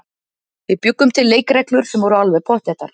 Við bjuggum til leikreglur sem voru alveg pottþéttar.